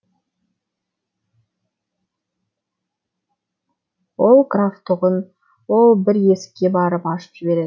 ол граф тұғын ол бір есікке барып ашып жіберер